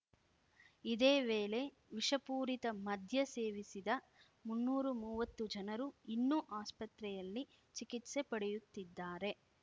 ಇದೇ ವೇಳೆ ವಿಷಪೂರಿತ ಮದ್ಯ ಸೇವಿಸಿದ ಮುನ್ನೂರು ಮೂವತ್ತು ಜನರು ಇನ್ನೂ ಆಸ್ಪತ್ರೆಯಲ್ಲಿ ಚಿಕಿತ್ಸೆ ಪಡೆಯುತ್ತಿದ್ದಾರೆ